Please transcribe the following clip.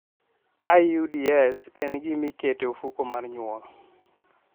IUDs, En gima iketo e ofuko mar nyuol.